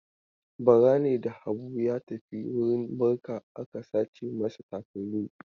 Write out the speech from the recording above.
Bara ne da Habu ya tafi wurin barka aka sace masa takalmi.